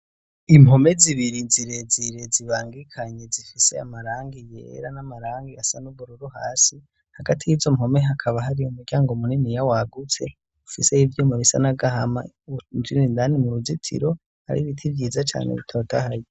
impome zibiri zirezire zibangikanye zifise amarangi yera n'amarangi asa n' ubururu hasi hagati yizo mpome hakaba hari umuryango muniniya wagutse ufiseyo ivyuma bisa n'agahama iyo winjiye indani mu ruzitiro hari biti vyiza cane bitotahaye